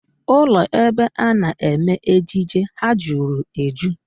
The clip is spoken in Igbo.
Ụlọ ebe a na-eme ejije ahụ jụrụ eju